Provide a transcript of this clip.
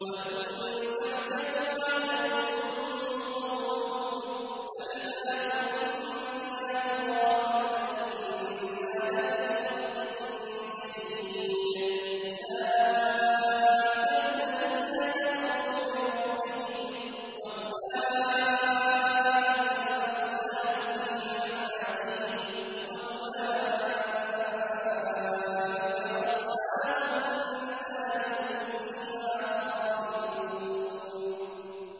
۞ وَإِن تَعْجَبْ فَعَجَبٌ قَوْلُهُمْ أَإِذَا كُنَّا تُرَابًا أَإِنَّا لَفِي خَلْقٍ جَدِيدٍ ۗ أُولَٰئِكَ الَّذِينَ كَفَرُوا بِرَبِّهِمْ ۖ وَأُولَٰئِكَ الْأَغْلَالُ فِي أَعْنَاقِهِمْ ۖ وَأُولَٰئِكَ أَصْحَابُ النَّارِ ۖ هُمْ فِيهَا خَالِدُونَ